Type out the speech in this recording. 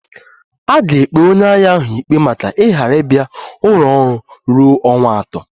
A ga-ekpe onye agha ahụ ikpe maka ịghara ịbia ọrụ ruo ọnwa atọ